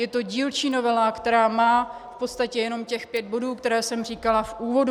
Je to dílčí novela, která má v podstatě jenom těch pět bodů, které jsem říkala v úvodu.